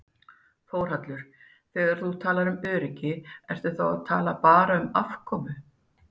Þórhallur: Þegar þú talar um öryggi ertu þá að tala bara um afkomu?